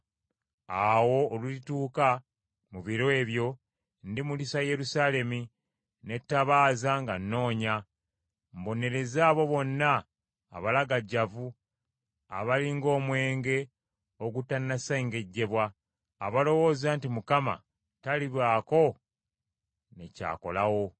Awo olulituuka mu biro ebyo ndimulisa Yerusaalemi n’ettabaaza nga nnoonya, mbonereze abo bonna abalagajjavu abali ng’omwenge ogutanasengejjebwa, abalowooza nti Mukama talibaako ne ky’akolawo.